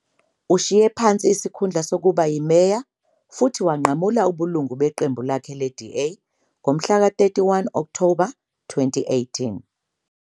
Ushiye phansi isikhundla sokuba yimeya futhi wanqamula ubulungu beqembu lakhe le-DA ngomhlaka 31 Okthoba 2018.